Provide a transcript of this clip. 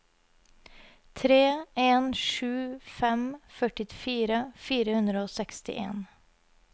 tre en sju fem førtifire fire hundre og sekstien